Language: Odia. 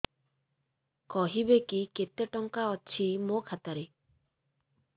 କହିବେକି କେତେ ଟଙ୍କା ଅଛି ମୋ ଖାତା ରେ